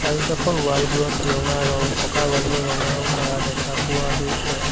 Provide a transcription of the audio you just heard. আৰু কাষৰ ৱাল বোৰত ৰঙা ৰং পকা ৱাল বোৰত ৰঙা ৰং কৰা দেখা পোৱা গৈছে।